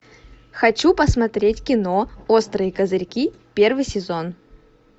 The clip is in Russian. хочу посмотреть кино острые козырьки первый сезон